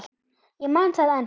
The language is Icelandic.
Ég man það ennþá.